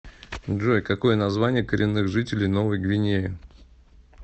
джой какое название коренных жителей новой гвинеи